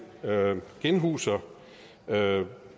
genhuser